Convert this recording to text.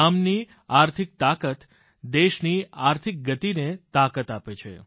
ગામની આર્થિક તાકાત દેશની આર્થિક ગતિને તાકાત આપે છે